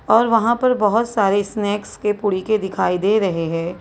और वहां पर बहुत सारे स्नैक्स के पुलके दिखाई दे रहे हैं।